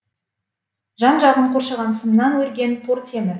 жан жағын қоршаған сымнан өрген тор темір